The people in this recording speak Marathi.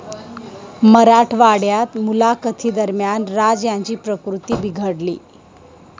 मराठवाड्यात मुलाखतींदरम्यान राज यांची प्रकृती बिघडली